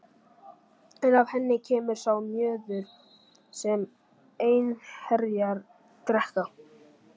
En af henni kemur sá mjöður sem einherjar drekka.